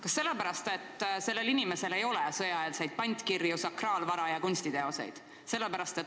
Kas sellepärast, et sellel inimesel ei ole sõjaeelseid pantkirju, sakraalvara ja kunstiteoseid?